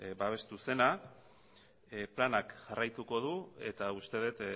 babestu zena planak jarraituko du eta uste dut